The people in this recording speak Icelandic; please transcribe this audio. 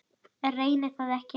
Reyni það ekki.